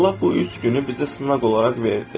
Allah bu üç günü bizə sınaq olaraq verdi.